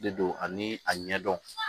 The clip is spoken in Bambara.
De don ani a ɲɛdɔn